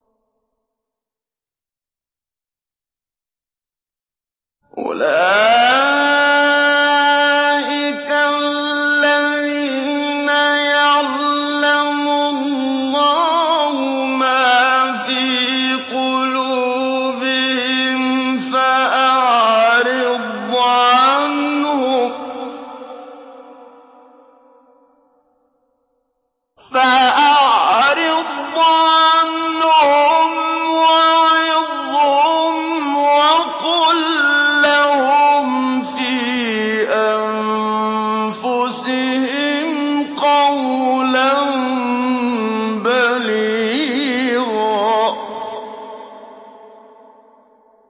أُولَٰئِكَ الَّذِينَ يَعْلَمُ اللَّهُ مَا فِي قُلُوبِهِمْ فَأَعْرِضْ عَنْهُمْ وَعِظْهُمْ وَقُل لَّهُمْ فِي أَنفُسِهِمْ قَوْلًا بَلِيغًا